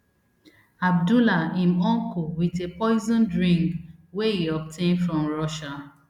abdullah im uncle wit a poisoned ring wey e obtain from russia